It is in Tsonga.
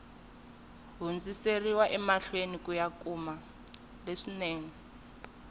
hundziseriwa emahlweni ku ya kuma